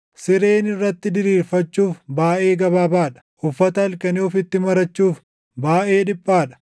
Sireen irratti diriirfachuuf baayʼee gabaabaa dha; uffata halkanii ofitti marachuuf baayʼee dhiphaa dha.